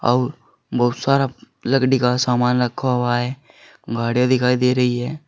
और बहुत सारा लकड़ी का सामान रखा हुआ है गाड़ियां दिखाई दे रही है।